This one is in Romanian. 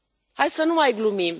Hai să nu mai glumim.